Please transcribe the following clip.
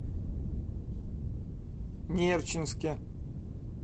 нерчинске